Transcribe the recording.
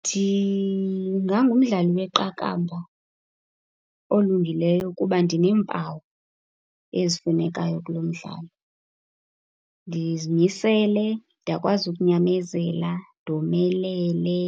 Ndingangumdlali weqakamba olungileyo kuba ndineempawu ezifunekayo kulo mdlalo. Ndizimisele, ndiyakwazi ukunyamezela, ndomelele.